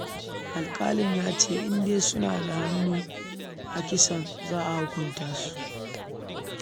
Alƙalin ya ce, in dai an tabbatar suna da hannu a kisan, za a hukunta su